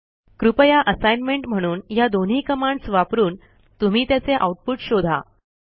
कृपया असाइनमेंट म्हणून ह्या दोन्ही कमांडस् वापरून तुम्ही त्याचे आऊटपुट शोधा